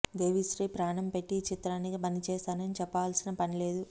దేవి శ్రీ ప్రాణం పెట్టి ఈ చిత్రానికి పనిచేశారని చెప్పాల్సిన పనిలేదు